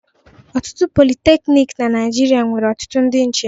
Ọtụtụ politeknik na Naịjirịa nwere ọtụtụ ndị nche.